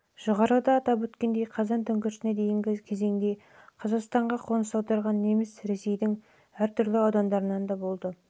жоғарыда атап өткендей қазан төңкерісіне дейінгі кезеңде қазақстанға қоныс аударған немістер ресейдің әр түрлі аудандарынан келіп олардың басым